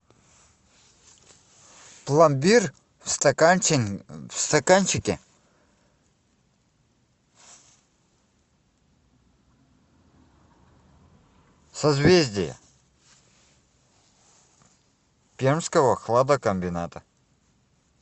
пломбир в стаканчике созвездие пермского хладокомбината